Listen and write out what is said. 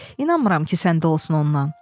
İnanmıram ki, səndə olsun ondan.